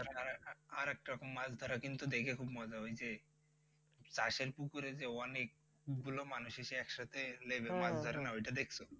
আরেকরকম মাছ ধরা দেখে কিন্তু মজা ওইযে চাষের পুকুরে যে অনেক অনেকগুলো মানুষ এসে একসাথে নেমে মাছ ধরে না ওইটা দেখছ?